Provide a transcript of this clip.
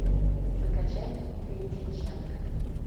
закачай дмитрия дьяченко